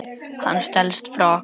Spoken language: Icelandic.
Hann stelst frá okkur.